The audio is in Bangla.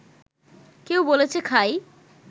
কেউ বলেছে খাই